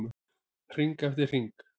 Hring eftir hring.